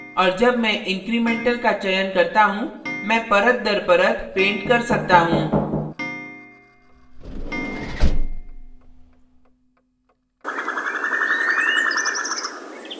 और जब मैं incremental का चयन करता हूँ मैं परतदरपरत paint कर सकता हूँ